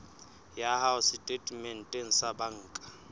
ya hao setatementeng sa banka